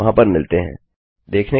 यह स्क्रिप्ट रवि द्वारा अनुवादित है